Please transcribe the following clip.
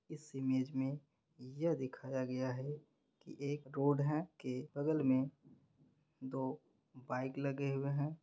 इस इमेज मे यह दिखाया गया है की एक रोड है के बगल में दो बाइक लगे हुए हैं।